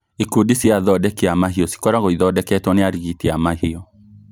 Ikundi cia athondeki a mahiũ cikoragwo ithondeketwo nĩ arigiti a mahiũ